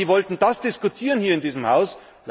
Wir als EVP wollten das diskutieren hier in diesem Haus.